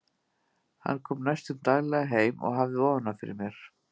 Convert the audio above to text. Hann kom næstum daglega heim og hafði ofan af fyrir mér.